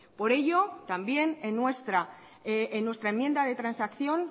por ello también en nuestra enmienda de transacción